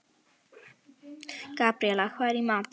Gabríela, hvað er í matinn?